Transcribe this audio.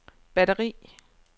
batteri